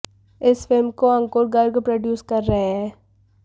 इस फिल्म को अंकुर गर्ग प्रोड्यूस कर रहे हैं